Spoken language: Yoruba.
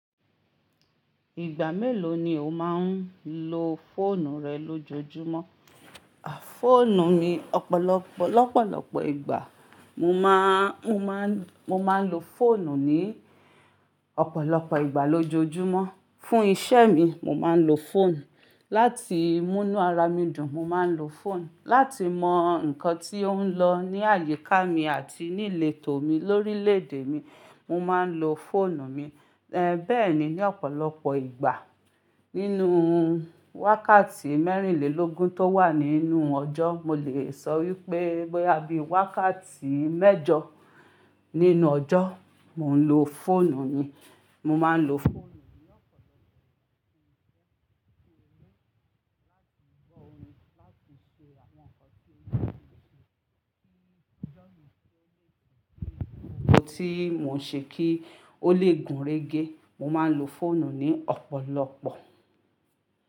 Ìgbà mélòó ni o máa ń lo fóònù rẹ lójoojúmọ́? Fóònù mi, ọ̀pọ̀lọpọ̀, lọ́pọ̀lọpọ̀ ìgbà. Mo máa, mo máa ń, mo máa ń lo fóònù ní ọ̀pọ̀lọpọ̀ ìgbà lójoojúmọ́. Fún iṣẹ́ mi, mo máa ń lo fóònù. Láti mú inú ara mi dùn, mo máa ń lo fóònù. Láti mọ nǹkan tí ó ń lọ ní àyíká mi àti ní letò mi, lórílèèdè mi, mo máa ń lo fóònù mi. Bẹ́ẹ̀ni ní ọ̀pọ̀lọpọ̀ ìgbà. Nínú wákàtí mẹ́rìnlélógún tó wà nínú ọjọ́, mo lè sọ wípé boya bi wákàtí mẹ́jọ nínú ọjọ́, mò ń lo fóònù yín. Mo máa ń lo fóònù mi ní ọ̀pọ̀lọpọ̀ ìgbà fún iṣẹ́ tí mo ń ṣe, láti gbọ́ orin, láti ṣe àwọn nǹkan tí mo ti ṣe sí iṣẹ́ mi, kí ó lè gùnrégé. Ohun tí mò ń ṣe kí ó lè gùnrégé, mo máa ń lo fóònù ní ọ̀pọ̀lọpọ̀.